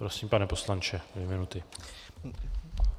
Prosím, pane poslanče, dvě minuty.